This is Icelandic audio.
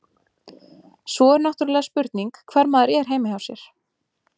Svo er náttúrulega spurning hvar maður er heima hjá sér.